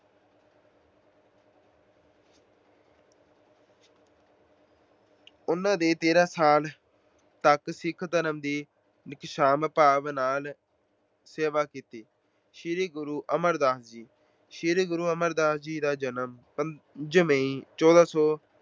ਉਹਨਾਂ ਨੇ ਤੇਰਾਂ ਸਾਲ ਤੱਕ ਸਿੱਖ ਧਰਮ ਦੀ ਨਿਸ਼ਕਾਮ ਭਾਵ ਨਾਲ ਸੇਵਾ ਕੀਤੀ। ਸ਼੍ਰੀ ਗੁਰੂ ਅਮਰਦਾਸ ਜੀ- ਸ਼੍ਰੀ ਗੁਰੂ ਅਮਰਦਾਸ ਜੀ ਦਾ ਜਨਮ ਪੰਜ ਮਈ, ਚੌਦਾਂ ਸੌ